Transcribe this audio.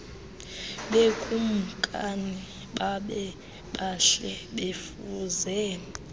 bekumkani babebahle befuze